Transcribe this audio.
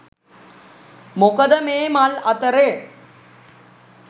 මොකද මේ මල් අතරේ